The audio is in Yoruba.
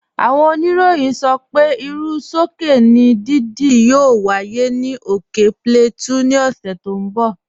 Áwọn ònìrọ̀yìn sọ pé irú sọkè ni dídí yóò wáyé ni ókè Plateau ni òṣè tó n bọ̀.